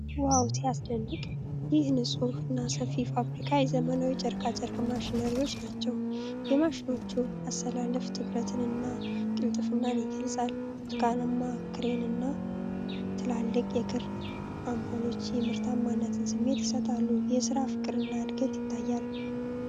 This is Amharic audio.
"ዋው! ሲያስደንቅ!" ይህ ንፁህ እና ሰፊ ፋብሪካ የዘመናዊ የጨርቃጨርቅ ማሽነሪዎች ናቸው። የማሽኖቹ አሰላለፍ ትኩረትን እና ቅልጥፍናን ይገልፃል። ብርቱካንማ ክሬን እና ትልልቅ የክር ስፖሎች የምርታማነትን ስሜት ይሰጣሉ። የስራ ፍቅርና እድገት ይታያል።